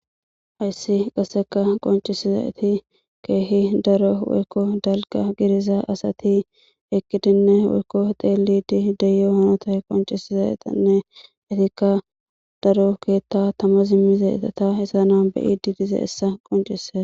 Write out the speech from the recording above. Hayssi qasseka qoncisizati keehi daro woykko dalga giriza asati ekidinne woykko xeelidi deyo hanota qoncisizaetanne itikka daro keetta tama zimmizeetata hessa na beyi didize essa qoncisea.